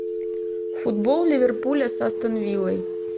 футбол ливерпуля с астон виллой